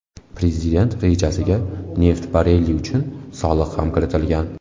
Prezident rejasiga neft barreli uchun soliq ham kiritilgan.